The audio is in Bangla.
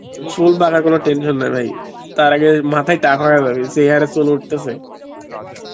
চুল পাকার কোনো tension নেই ভাই তার আগে মাথায় টাকলা যে হারে চুল উঠতেছে